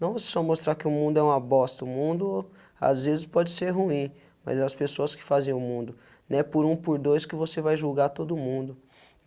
Não vocês só mostrar que o mundo é uma bosta, o mundo às vezes pode ser ruim, mas as pessoas que fazem o mundo, né, por um, por dois, que você vai julgar todo mundo.